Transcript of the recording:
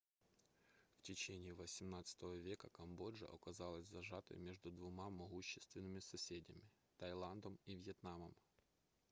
в течение xviii века камбоджа оказалась зажатой между двумя могущественными соседями таиландом и вьетнамом